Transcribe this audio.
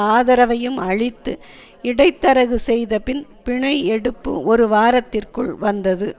ஆதரவையும் அளித்து இடைத்தரகு செய்த பின் பிணை எடுப்பு ஒரு வாரத்திற்குள் வந்தது